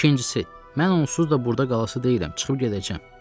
İkincisi, mən onsuz da burda qalası deyiləm, çıxıb gedəcəm.